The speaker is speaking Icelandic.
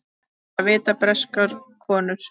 Þetta vita breskar konur.